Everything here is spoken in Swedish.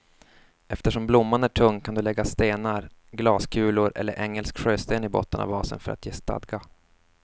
Eftersom blomman är tung kan du lägga stenar, glaskulor eller engelsk sjösten i botten av vasen för att ge stadga.